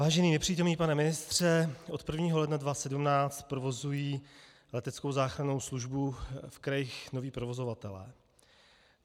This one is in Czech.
Vážený nepřítomný pane ministře, od 1. ledna 2017 provozují leteckou záchrannou službu v krajích noví provozovatelé.